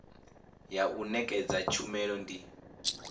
ya u nekedza tshumelo ndi